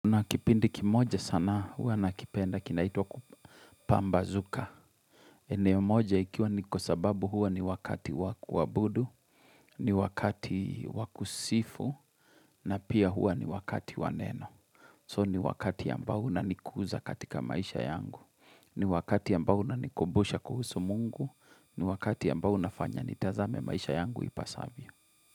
Unakipindi kimoja sana huwa nakipenda kinaitwa kupambazuka. Eneo moja ikiwa ni kwa sababu huwa ni wakati wa kuabudu, ni wakati wakusifu, na pia hua ni wakati waneno. So ni wakati ambao unanikuza katika maisha yangu. Ni wakati ambao unanikumbusha kuhusu mungu. Ni wakati ambao unafanya nitazame maisha yangu ipasavyo.